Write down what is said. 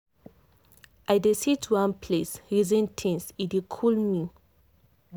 i dey sit one place reason things e dey cool me.